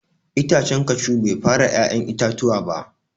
Itacen cashew Bai fara ya'yan itatuwa ba.